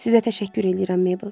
Sizə təşəkkür eləyirəm, Mabel.